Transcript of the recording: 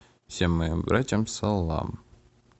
всем моим братьям салам